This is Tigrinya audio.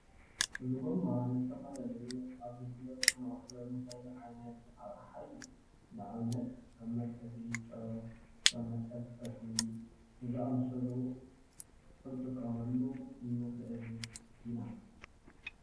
እዚ ጎማ ንዝተፈላለዩ ኣገልግሎት ክነውዕሎ እንክእል ዓይነት ኣቅሓ እዩ፡፡ ንኣብነት ከም መትሓዚ ጨው ከም መትሓዚ ጠስሚ ንዝኣምሰሉ ክንጥቀመሉ ንክእል ኢና፡፡